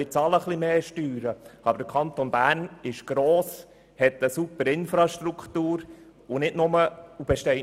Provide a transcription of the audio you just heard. Wir bezahlen zwar etwas mehr Steuern, aber der Kanton Bern ist gross, er hat eine ausgezeichnete Infrastruktur und besteht nicht nur aus Briefkästen.